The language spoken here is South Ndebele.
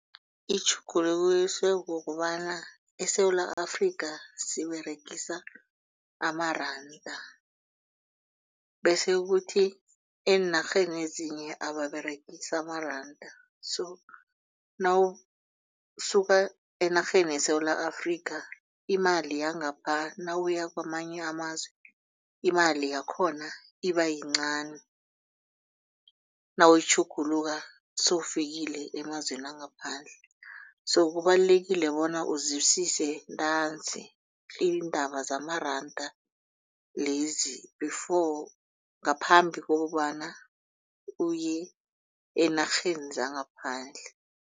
Itjhugulukiswe kukobana eSewula Afrika siberegisa amaranda bese kuthi eenarheni ezinye ababeregisi amaranda so nawusuka enarheni yeSewula Afrika imali yangapha nawuya kwamanye amazwe imali yakhona ibayincani. Nawuyitjhugulula sewufikile emazweni wangaphandle so kubalulekile bona uzwisise ntanzi iindaba zamaranda lezi before ngaphambi kokobana uye eenarheni zangaphandle.